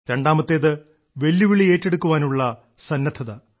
രണ്ടാമത്തേത് വെല്ലുവിളി ഏറ്റെടുക്കുവാനുള്ള സന്നദ്ധത